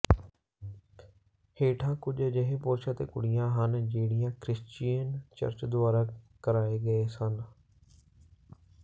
ਹੇਠਾਂ ਕੁਝ ਅਜਿਹੇ ਪੁਰਸ਼ ਅਤੇ ਕੁੜੀਆਂ ਹਨ ਜਿਹੜੀਆਂ ਕ੍ਰਿਸ਼ਚੀਅਨ ਚਰਚ ਦੁਆਰਾ ਕਰਾਏ ਗਏ ਸਨ